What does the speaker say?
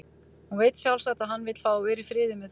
Hún veit sjálfsagt að hann vill fá að vera í friði með það.